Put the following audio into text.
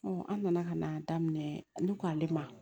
an nana ka na daminɛ ne ko ale ma